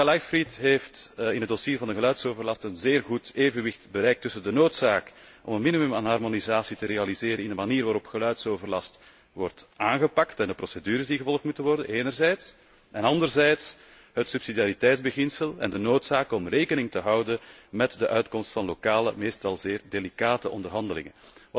Collega Leichtfried heeft in het dossier van de geluidsoverlast een zeer goed evenwicht bereikt tussen de noodzaak om een minimum aan harmonisatie te realiseren in de manier waarop geluidsoverlast wordt aangepakt en welke procedures moeten worden gevolgd enerzijds, en, anderzijds, het subsidiariteitsbeginsel en de noodzaak om rekening te houden met de uitkomst van lokale, meestal zeer delicate onderhandelingen.